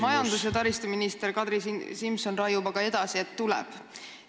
Majandus- ja taristuminister Kadri Simson raiub aga edasi, et tasuta ühistransport tuleb.